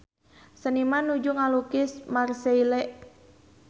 Seniman nuju ngalukis Marseille